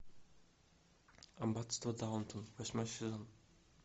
аббатство даунтон восьмой сезон